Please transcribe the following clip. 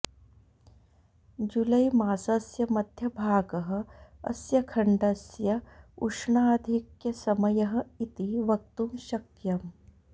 जुलैमासस्य मध्यभागः अस्य खण्डस्य उष्णाधिक्यसमयः इति वक्तुं शक्यम्